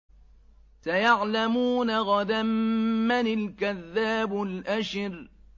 سَيَعْلَمُونَ غَدًا مَّنِ الْكَذَّابُ الْأَشِرُ